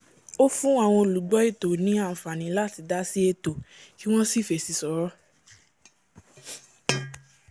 ó fún àwọn olùgbọ́ ètò ní àǹfàní láti dásí ètò kí wọ́n sì fèsì s'ọ́rọ̀